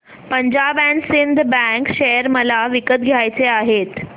Punjab and Sind bank share मला विकत घ्यायचे आहेत